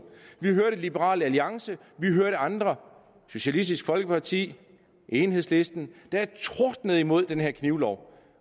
vi hører liberal alliance vi hører andre socialistisk folkeparti enhedslisten der tordner imod den her knivlov